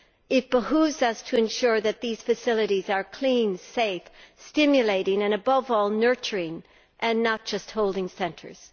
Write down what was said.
It behoves us to ensure that those facilities are clean, safe, stimulating and, above all, nurturing, and are not just holding centres.